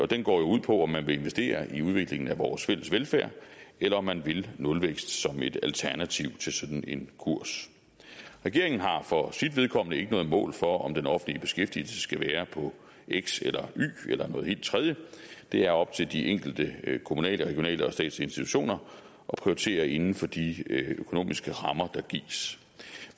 den går ud på om man vil investere i udviklingen af vores fælles velfærd eller om man vil nulvækst som et alternativ til sådan en kurs regeringen har for sit vedkommende ikke noget mål for om den offentlige beskæftigelse skal være på x eller y eller noget helt tredje det er op til de enkelte kommunale regionale og statslige institutioner at prioritere inden for de økonomiske rammer der gives